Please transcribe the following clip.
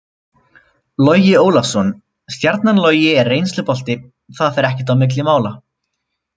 Logi Ólafsson- Stjarnan Logi er reynslubolti, það fer ekkert á milli mála.